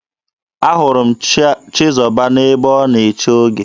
Ahụrụ m Chizọba n'ebe a na-eche oge.